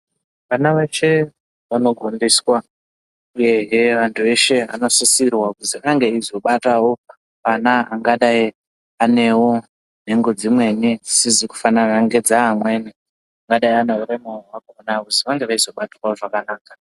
Ana eshe anogondiswa. Ehe antu eshe anosisirwa kuzi ange achizobatawo ana anewo nhengo dzimweni dzisizi kufanana nedzeamweni angadayi ane urema ange eizobatwawo zvakanaka..